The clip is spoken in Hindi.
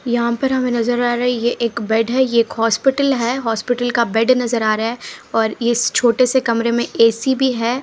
यहां पर हमें नजर आ रही है एक बेड है ये एक हॉस्पिटल है हॉस्पिटल का बेड नजर आ रहा है और इस छोटे से कमरे एसी भी है।